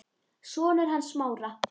Sonur hans Smára.